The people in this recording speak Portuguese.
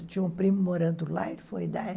Tinha um primo morando lá e foi dar